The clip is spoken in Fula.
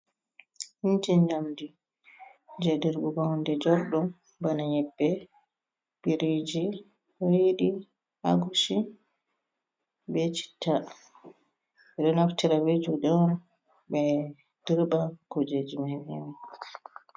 Inji njamdi, jei dirɓugo hunde jorɗum, bana nyebbe, biriiji, riiɗi, agushi be citta. Ɓe ɗo naftira be juuɗe on ɓe dirɓa kuujeji mai be mai.